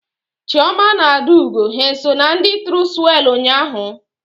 Chioma na Adaugo ha eso na ndị tụrụ swelu ụnyaahụ?